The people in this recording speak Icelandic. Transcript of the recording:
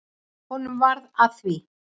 Honum varð að því.